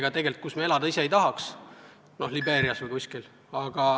Need on riigid, kus me ise elada ei tahaks, noh, Libeeria näiteks.